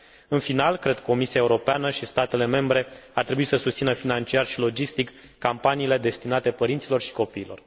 În final, Cred că Comisia Europeană și statele membre ar trebui să susțină financiar și logistic campaniile destinate părinților și copiilor.